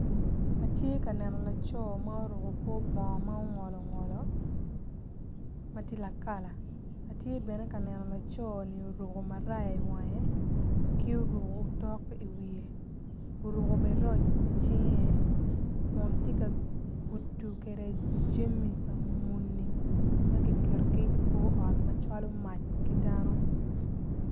Atye ka neno laco ma oruko kor bongo ma ongolo ngolom matye lakalam tye bene kaneno laconi oruko maraya i wange ki oruko otok iwiye oruko bene roc i cinge, kun tye ka kuto kede jami pa muni magi keto gi i kor ot macalo mac ki dano.